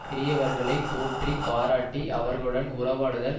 பெரியவர்களை போற்றி பாராட்டி அவர்களுடன் உறவாடுதல்